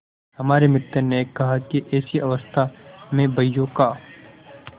हमारे मित्र ने कहा कि ऐसी अवस्था में बहियों का